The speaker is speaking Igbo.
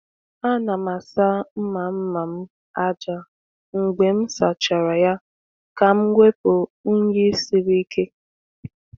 A na m asa mma mma m aja mgbe m sachara ya ka m wepụ unyi siri ike.